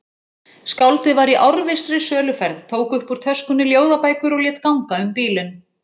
Skáldið var í árvissri söluferð, tók upp úr töskunni ljóðabækur og lét ganga um bílinn.